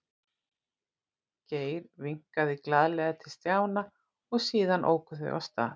Geir vinkaði glaðlega til Stjána og síðan óku þau af stað.